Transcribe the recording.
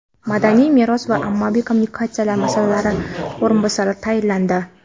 madaniy meros va ommaviy kommunikatsiyalar masalalari bo‘yicha o‘rinbosarlar tayinlandi.